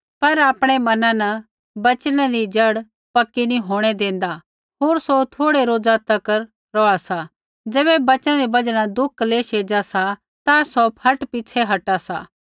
पर आपणै मना न वचनै री जड़ पक्की नी होंणै देंदा होर सौ थोड़ै रोज़ा तक रौहा सा ज़ैबै वचना री बजहा न दुख क्लेश एज़ा सा ता सौ फट पिछ़ै हटा सा